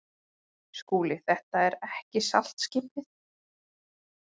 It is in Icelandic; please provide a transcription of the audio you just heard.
SKÚLI: Þetta er ekki saltskipið.